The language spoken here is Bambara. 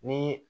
Ni